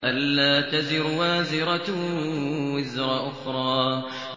أَلَّا تَزِرُ وَازِرَةٌ وِزْرَ أُخْرَىٰ